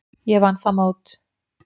Ég vann það mót.